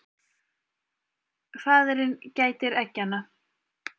Faðirinn gætir eggjanna.